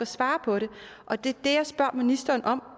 svare på det og det er det jeg spørger ministeren om